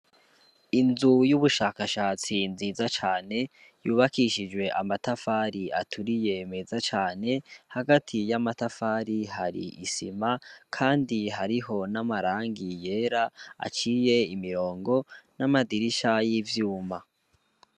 Inzu y'ubushakashatsi nziza cane yubakishijwe amatafari aturiye meza cane hagati y'amatafari hari isima, kandi hariho n'amarangi yera aciye imirongo n'amadirisha y'ivyuma.